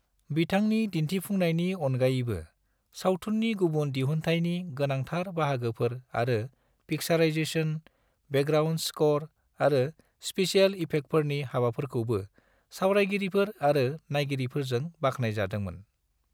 बिथांनि दिन्थिफुंनायनि अनगायैबो, सावथुननि गुबुन दिहुन्थायनि गोनांथार बाहागोफोर आरो पिक्साराइजेसन, बेकग्राउन्ड स्क'र आरो स्पेसेल इफेक्टफोरनि हाबाफोरखौबो सावरायगिरिफोर आरो नायगिरिफोरजों बाख्नायजादोंमोन।